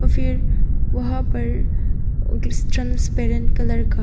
फिर वहां पर ट्रांसपेरेंटपैरेंट कलर का--